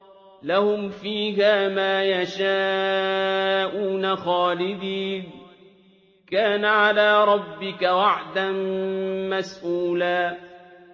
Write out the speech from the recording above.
لَّهُمْ فِيهَا مَا يَشَاءُونَ خَالِدِينَ ۚ كَانَ عَلَىٰ رَبِّكَ وَعْدًا مَّسْئُولًا